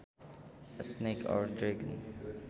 A snake or dragon